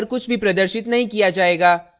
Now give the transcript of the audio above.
terminal पर कुछ भी प्रदर्शित नहीं किया जायेगा